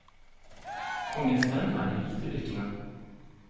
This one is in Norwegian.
Kongens menn er de hvite brikkene.